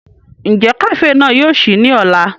Njẹ kafee náà yóò ṣii ni ọla?